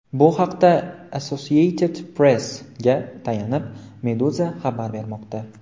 Bu haqda Associated Press’ga tayanib, Meduza xabar bermoqda .